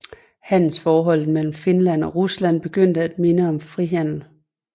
Handelsforholdet mellem Finland og Rusland begyndte at minde om frihandel